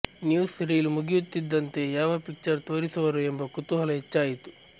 news reel ಮುಗಿಯುತ್ತಿದ್ದಂತೆ ಯಾವ picture ತೋರಿಸುವರೋ ಎಂಬ ಕುತೂಹಲ ಹೆಚ್ಚಾಯಿತು